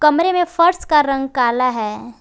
कमरे में फर्श का रंग काला है।